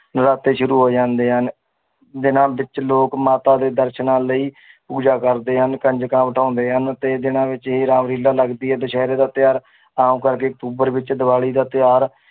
ਨਰਾਤੇ ਸ਼ੁਰੂ ਹੋ ਜਾਂਦੇ ਹਨ ਦਿਨਾਂ ਵਿੱਚ ਲੋਕ ਮਾਤਾ ਦੇ ਦਰਸ਼ਨਾਂ ਲਈ ਪੂਜਾ ਕਰਦੇ ਹਨ ਕੰਜਕਾਂ ਬਿਠਾਉਂਦੇ ਹਨ ਤੇ ਇਹ ਦਿਨਾਂ ਵਿੱਚ ਹੀ ਰਾਮ ਲੀਲਾ ਲੱਗਦੀ ਹੈ ਦੁਸਹਿਰੇ ਦਾ ਤਿਉਹਾਰ ਆਮ ਕਰਕੇ ਅਕਤੂਬਰ ਵਿੱਚ ਦੀਵਾਲੀ ਦਾ ਤਿਉਹਾਰ